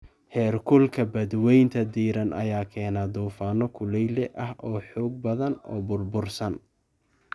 Heerkulka badweynta diiran ayaa keena duufaano kulayle ah oo xoog badan oo burbursan.